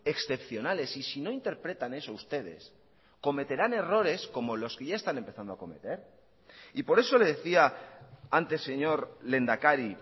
excepcionales y si no interpretan eso ustedes cometerán errores como los que ya están empezando a cometer y por eso le decía antes señor lehendakari